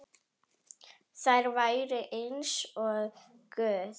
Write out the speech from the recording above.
Þær væru eins og guð.